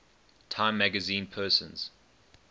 time magazine persons